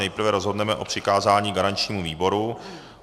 Nejprve rozhodneme o přikázání garančnímu výboru.